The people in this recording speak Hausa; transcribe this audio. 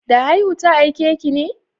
Da haihu ta aiki ne?